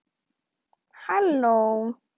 Hann eða hún